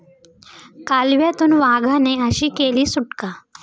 कालव्यातून वाघाने अशी केली सुटका